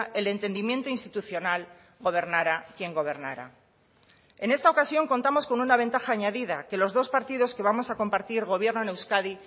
el entendimiento institucional gobernara quien gobernara en esta ocasión contamos con una ventaja añadida que los dos partidos que vamos a compartir gobierno en euskadi